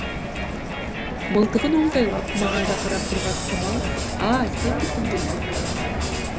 мылтығын оңтайлап маңайға қарап тұрған қамал а сенбісің деді айғайлап